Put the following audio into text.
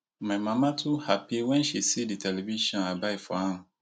my mama too happy wen she see the television i buy for am